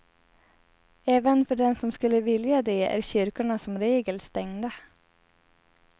Även för den som skulle vilja det är kyrkorna som regel stängda.